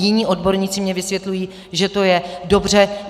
Jiní odborníci mi vysvětlují, že to je dobře.